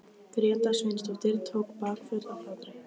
Gréta Sveinsdóttir tók bakföll af hlátri.